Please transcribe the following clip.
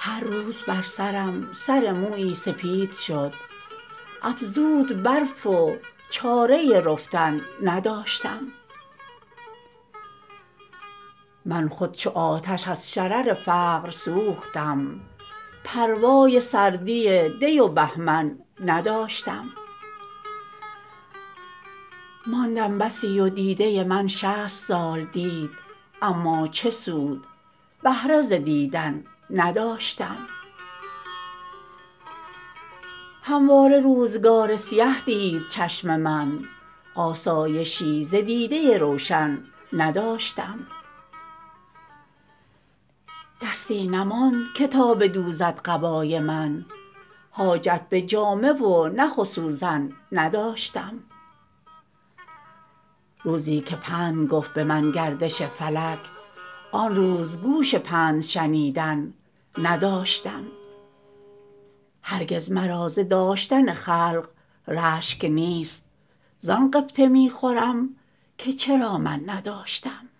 هر روز بر سرم سر مویی سپید شد افزود برف و چاره رفتن نداشتم من خود چو آتش از شرر فقر سوختم پروای سردی دی و بهمن نداشتم ماندم بسی و دیده من شصت سال دید اما چه سود بهره ز دیدن نداشتم همواره روزگار سیه دید چشم من آسایشی ز دیده روشن نداشتم دستی نماند تا که بدوزد قبای من حاجت به جامه و نخ و سوزن نداشتم روزی که پند گفت بمن گردش فلک آن روز گوش پند شنیدن نداشتم هرگز مرا ز داشتن خلق رشک نیست زان غبطه میخورم که چرا من نداشتم